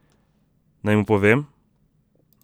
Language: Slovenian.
Naj mu povem?